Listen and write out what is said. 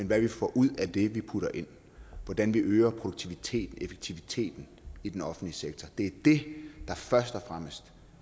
hvad vi får ud af det vi putter ind hvordan vi øger produktiviteten og effektiviteten i den offentlige sektor det er det der først og fremmest